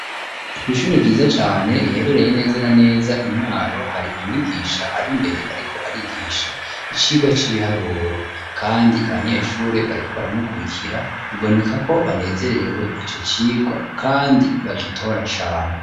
Ku ishuri ryiza cane riherereye neza na neza Imwaro hari umwigisha ari mbere ariko arigisha icirwa c'ibiharuro kandi abanyeshuri bariko baramukurikira biboneka ko banezererewe ico cirwa kandi bagitora cane.